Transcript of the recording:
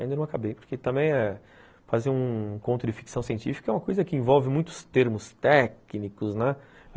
Ainda não acabei, porque também fazer um conto de ficção científica é uma coisa que envolve muitos termos técnicos, né?